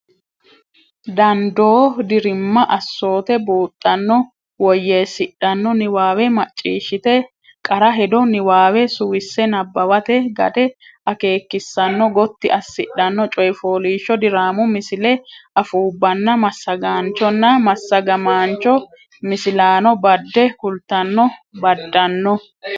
dandoo dirimma assoote buuxxanno woyyeessidhanno niwaawe macciishshite qara hedo niwaawe suwisse nabbawate gade akeekissanno gotti assidhanno coy fooliishsho diraamu misilshu afuubbanna massagaanchonna massagamaancho misilaano badde kultanno baddanno.